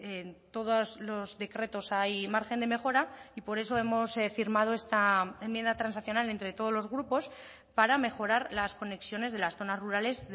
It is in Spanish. en todos los decretos hay margen de mejora y por eso hemos firmado esta enmienda transaccional entre todos los grupos para mejorar las conexiones de las zonas rurales